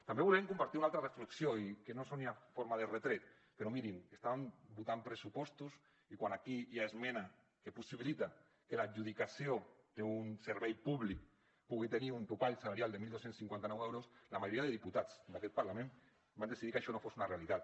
també volem compartir una altra reflexió i que no soni a forma de retret però mirin estàvem votant pressupostos i quan aquí hi ha una esmena que possibilita que l’adjudicació d’un servei públic pugui tenir un topall salarial de dotze cinquanta nou euros la majoria de diputats d’aquest parlament van decidir que això no fos una realitat